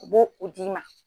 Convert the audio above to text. U bo u d'i ma.